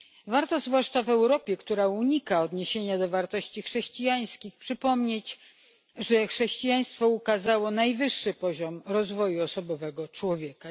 Warto, zwłaszcza w Europie, która unika odniesienia do wartości chrześcijańskich, przypomnieć, że chrześcijaństwo ukazało najwyższy poziom rozwoju osobowego człowieka.